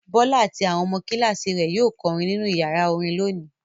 Bọ́lá àti àwọn ọmọ kíláàsì rẹ̀ yóò kọrin nínú ìyàrá orin lónìí.